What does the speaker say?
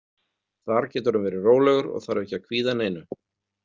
Þar getur hann verið rólegur og þarf ekki að kvíða neinu.